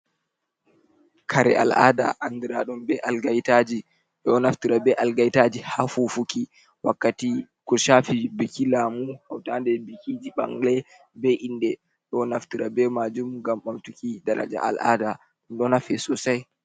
Kare al'ada andiraɗum be algaitaji, ɓeɗo naftira be algaitaji ha fufuki wakkati ko shafi biki lamu, hautaɗe bikiji bangle, be inde, ɗo naftura be majum ngam ɓamtuki daraja al'ada ɗum ɗo nafe sosai.